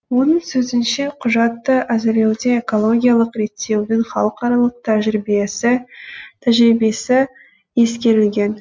оның сөзінше құжатты әзірлеуде экологиялық реттеудің халықаралық тәжірибесі ескерілген